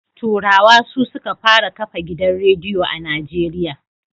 Turawa su suka fara kafa gidan radiyo a Najeriya.